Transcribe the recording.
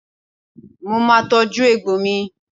Mo máa tọ́jú egbò mi.